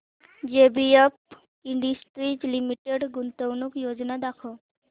JBF industries limited गुंतवणूक योजना दाखव